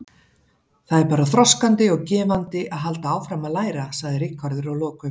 Það er bara þroskandi og gefandi að halda áfram að læra, sagði Ríkharður að lokum.